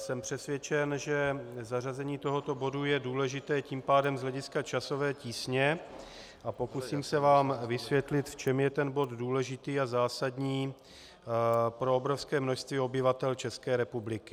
Jsem přesvědčen, že zařazení tohoto bodu je důležité tím pádem z hlediska časové tísně, a pokusím se vám vysvětlit, v čem je ten bod důležitý a zásadní pro obrovské množství obyvatel České republiky.